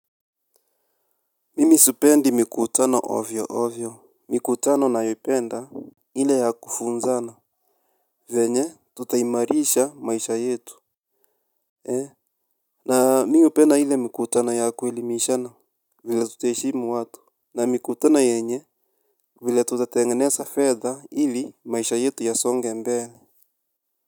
Mimisipendi mikutano ovyo ovyo. Mikutano na yependa ili ya kufunzana. Venye tuta imarisha maisha yetu. Na mi hupenda ili mikutano yaku elimishana. Vile tuta eshimu watu. Na mikutano yenye vile tutatengeza fedha ili maisha yetu ya songe mbele.